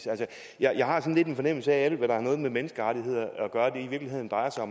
jeg jeg har sådan lidt en fornemmelse af at alt hvad der har med menneskerettigheder at gøre i virkeligheden bare er